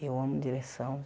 Eu amo direção.